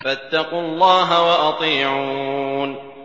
فَاتَّقُوا اللَّهَ وَأَطِيعُونِ